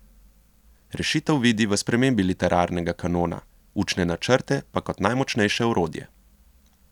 Rešitev vidi v spremembi literarnega kanona, učne načrte pa kot najmočnejše orodje.